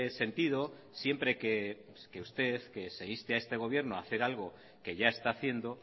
sentido siempre que usted que se inste a este gobierno a hacer algo que ya está haciendo